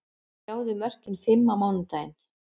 Sjáðu mörkin fimm á mánudaginn: